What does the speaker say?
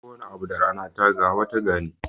Kowane abu da rana ta ga, wata na gani.